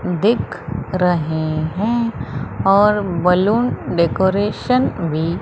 दिख रहे हैं और बलून डेकोरेशन भी--